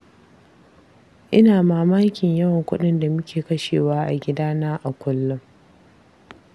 Ina mamakin yawan kuɗin da muke kashewa a gidana a kullum.